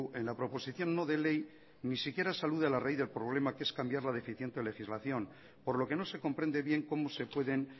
en la proposición no de ley ni siquiera se alude a la raíz del problema que es cambiar la deficiente legislación por lo que no se comprende bien cómo se pueden